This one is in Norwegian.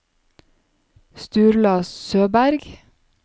Sturla Søberg